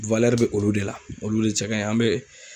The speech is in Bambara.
bɛ olu de la , olu de cɛ kaɲi, an bɛ